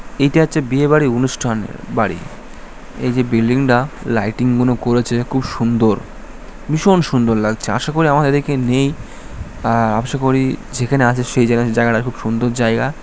এইটা হচ্ছে বিয়ে বাড়ির অনুষ্ঠানের বাড়ি। এই যে বিল্ডিং টা লাইটিং গুলো করেছে খুব সুন্দর ভীষণ সুন্দর লাগছে। আশা করি আমাদের এদিকে নেই। আ আশা করি যে জাগাতে আছে সে জাগাতে জায়গাটা খুব সুন্দর জায়গা।